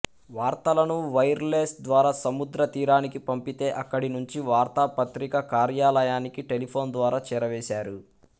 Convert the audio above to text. వార్తలను wireless ద్వారా సముద్ర తీరానికి పంపితే అక్కడి నుంచి వార్తా పత్రిక కార్యాలయానికి టెలిఫోన్ ద్వారా చేరవేశారు